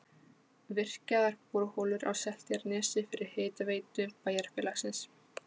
Virkjaðar borholur á Seltjarnarnesi fyrir hitaveitu bæjarfélagsins.